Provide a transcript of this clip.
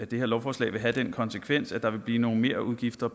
det her lovforslag vil have den konsekvens at der vil blive nogle merudgifter